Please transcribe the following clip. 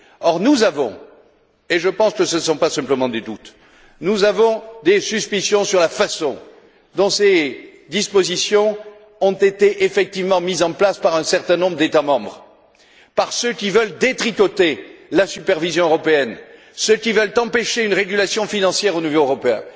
Or, nous avons et je pense que ce ne sont pas simplement des doutes des suspicions sur la façon dont ces dispositions ont été effectivement mises en place par un certain nombre d'États membres, par ceux qui veulent détricoter la supervision européenne, ceux qui veulent empêcher une régulation financière au niveau européen.